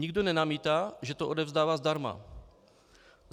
Nikdo nenamítá, že to odevzdává zdarma.